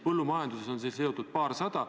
Põllumajandusega on neid seotud paarsada.